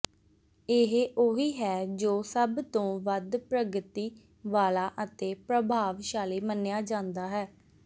ਇਹ ਉਹੀ ਹੈ ਜੋ ਸਭ ਤੋਂ ਵੱਧ ਪ੍ਰਗਤੀ ਵਾਲਾ ਅਤੇ ਪ੍ਰਭਾਵਸ਼ਾਲੀ ਮੰਨਿਆ ਜਾਂਦਾ ਹੈ